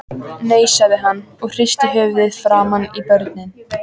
Nei, sagði hann og hristi höfuðið framan í börnin.